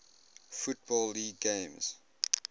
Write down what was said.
football league games